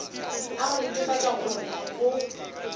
a go netefatša gore go